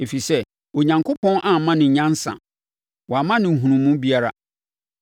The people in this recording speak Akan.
ɛfiri sɛ Onyankopɔn amma no nyansa, wamma no nhunumu biara.